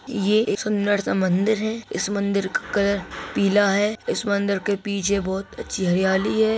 ये एक सुंदर -सा मंदिर है इस मंदिर का कलर पीला है इस मंदिर के पीछे बहुत अच्छी हरियाली हैं।